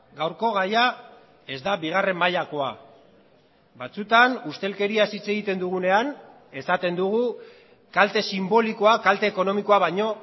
gaurko gaia ez da bigarren mailakoa batzutan ustelkeriaz hitz egiten dugunean esaten dugu kalte sinbolikoa kalte ekonomikoa baino